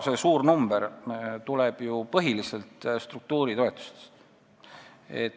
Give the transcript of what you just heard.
See suur number tuleb ju põhiliselt struktuuritoetustest.